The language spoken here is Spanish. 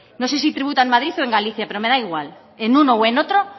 no sé si tributa en madrid o en galicia pero me da igual en uno o en otro